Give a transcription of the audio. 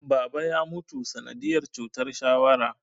Baba ya mutu sanadiyar cutar shawara